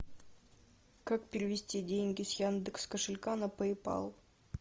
как перевести деньги с яндекс кошелька на пэй пал